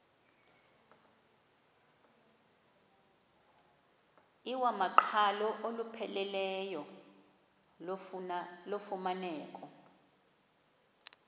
iwamaqhalo olupheleleyo lufumaneka